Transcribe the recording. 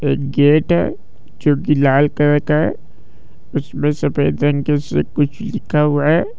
एक गेट है जो की लाल कलर का है उसमे सफ़ेद रंग से कुछ लिखा हुआ है।